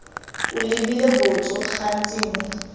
o lebile botso gantsi mo